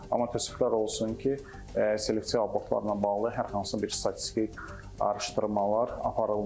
Amma təəssüflər olsun ki, selektiv abortlarla bağlı hər hansı bir statistik araşdırmalar aparılmır.